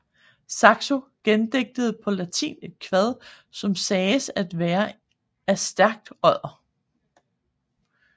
Saxo gendigtede på latin et kvad som sagdes at være af Stærkodder